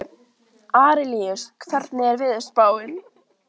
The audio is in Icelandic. Arilíus, hvernig er veðurspáin?